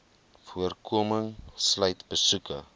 voorkoming sluit besoeke